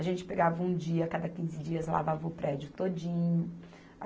A gente pegava um dia, cada quinze dias lavava o prédio todinho.